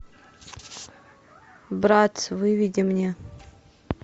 брат выведи мне